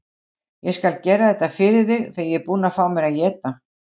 Ég skal gera þetta fyrir þig þegar ég er búinn að fá mér að éta.